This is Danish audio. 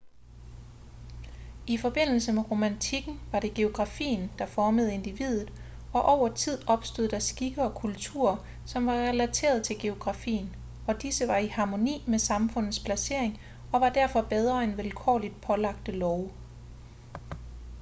i forbindelse med romantikken var det geografien der formede individet og over tid opstod der skikke og kulturer som var relateret til geografien og disse var i harmoni med samfundets placering og var derfor bedre end vilkårligt pålagte love